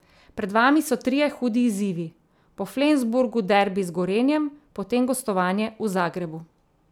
Pred vami so trije hudi izzivi, po Flensburgu derbi z Gorenjem, potem gostovanje v Zagrebu.